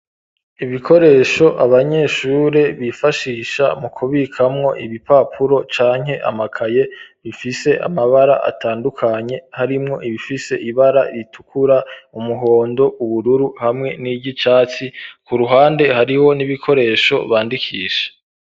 Ibikoresho, abanyeshure bifashisha, mu kubikamwo ibipapuro, canke amakaye; bifise amabara, atandukanye; harimwo ibifise ibara ritukura, umuhondo, ubururu, hamwe n'iry'icatsi; ku ruhande, hariho n'ibikoresho, bandikisha.